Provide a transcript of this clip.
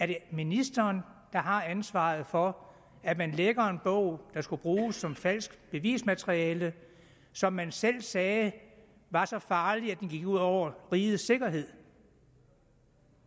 det er ministeren der har ansvaret for at man lækker en bog der skulle bruges som falsk bevismateriale som man selv sagde var så farlig at den gik ud over rigets sikkerhed